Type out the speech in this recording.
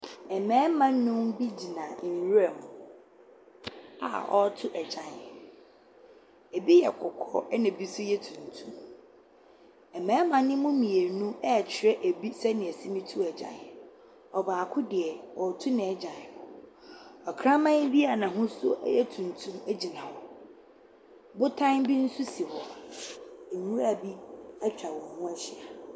Mmarima nnum bi gyina nwuram a wɔto egyan. Ebi yɛ kɔkɔɔ ɛna ebi so yɛ tuntum. Mmarima no mu mmienu ɛkyerɛ ebi sɛnea yɛse to egyan. Ɔbaako deɛ ɔto nagyan no. Ɔkraman bi a n'ahosuo ɛyɛ tuntum egyina hɔ. Botan nso si hɔ. Nwura bi etwa wɔn ho ahyia.